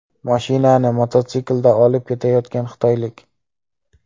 Mashinani mototsiklda olib ketayotgan xitoylik.